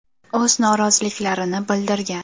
O‘z noroziliklarini bildirgan.